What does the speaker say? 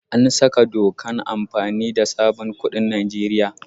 An saka dokan amfani da sabon kuɗin Nijeriya.